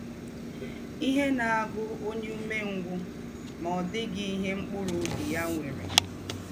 “ Ihe na - agụ ọnye ụmengwụ, ma ọ dịghị ihe mkpụrụ ọbi ya nwere.